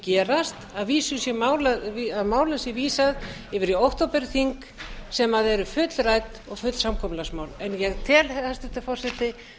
gerast að málum sé vísað yfir í októberþing sem eru fullrædd og full samkomulagsmál ég tel hæstvirtur forseti